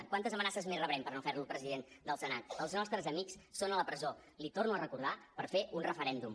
quantes amenaces més rebrem per no fer lo president del senat els nostres amics són a la presó l’hi torno a recordar per fer un referèndum